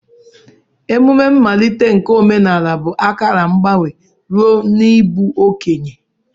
Emumme mmalite nke omenala bụ akara mgbanwe ruo n'ịbụ okenye.